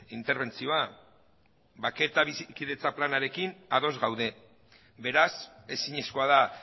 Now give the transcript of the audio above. interbentzioa bake eta bizikidetza planarekin ados gaude beraz ezinezkoa da